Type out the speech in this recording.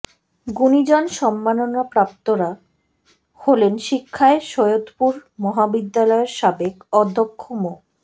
গুণিজন সম্মাননাপ্রাপ্তরা হলেন শিক্ষায় সৈয়দপুর মহাবিদ্যালয়ের সাবেক অধ্যক্ষ মো